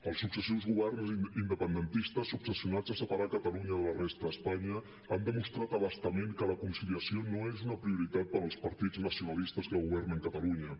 els successius governs independentistes obsessionats a separar catalunya de la resta d’espanya han demostrat a bastament que la conciliació no és una prioritat per als partits nacionalistes que governen catalunya